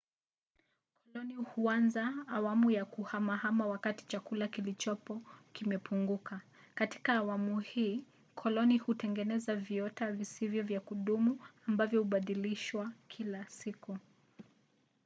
koloni huanza awamu ya kuhamahama wakati chakula kilichopo kimepunguka. katika awamu hii koloni hutengeneza viota visivyo vya kudumu ambavyo hubadilishwa kila siku